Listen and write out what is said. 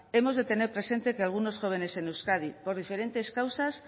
hemos de tener presente que algunos jóvenes en euskadi por diferentes causas